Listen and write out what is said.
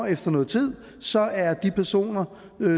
efter nogen tid så er de personer